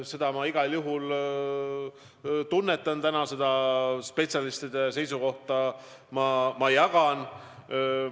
Seda ma igal juhul täna tunnetan, seda spetsialistide seisukohta ma jagan.